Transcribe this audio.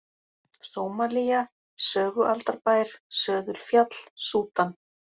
Sómalía, Sögualdarbær, Söðulfjall, Súdan